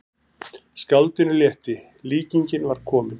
Skáldinu létti, líkingin var komin.